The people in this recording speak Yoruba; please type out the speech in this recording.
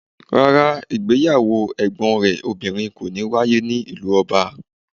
Rárá, ìgbéyàwó ẹ̀gbọ́n rẹ̀ obìnrin kò ní wáyé ní ìlú ọba